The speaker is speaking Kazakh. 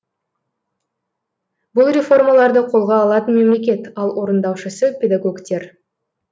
бұл реформаларды қолға алатын мемлекет ал орындаушысы педагогтер